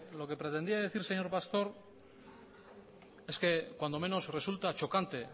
lo que pretendía decir señor pastor es que cuando menos resulta chocante